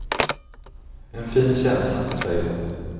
En fin känsla, säger hon.